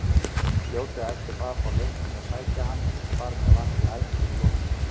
Fljótlega eftir það fór Leiknir að sækja hann og þar með var því ævintýri lokið.